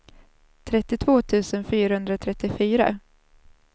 trettiotvå tusen fyrahundratrettiofyra